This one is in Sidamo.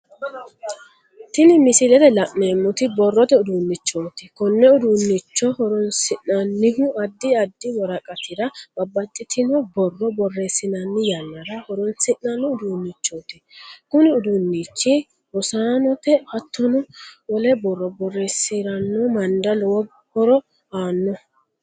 Tini misilete la'neemoti borrote uduunichoti konne uduunnicho horoonsi'nannihu addi addi woraqatira babbaxitino borro boreesinnanni yanara horoonsi'nanni uduunichooti kunni uduunichi rosaanote hattono wole borro boreesirano manira lowo horo aano.